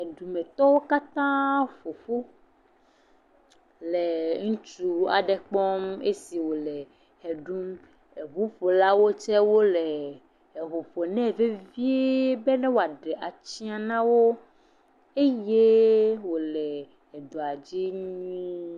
Edumetɔwo katãa ƒoƒu le ŋutsu aɖe kpɔm le esi wòle ʋe ɖum, eŋuƒolawo tse wole eŋu ƒom nɛ vevie be wòaɖe atsiã na wo eye wòle edɔa dzi nyuie.